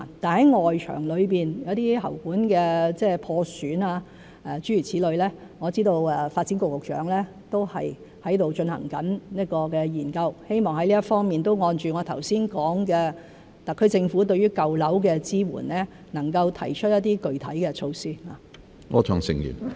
然而，就外牆的喉管破損等情況，我知道發展局局長正進行研究，希望在這方面按我剛才所說，特區政府能夠就舊樓的支援提出一些具體措施。